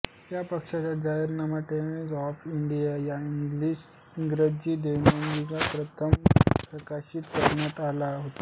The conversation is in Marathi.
या पक्षाचा जाहीरनामा टाइम्स ऑफ इंडिया या इंग्रजी दैनिकात प्रथम प्रकाशित करण्यात आला होता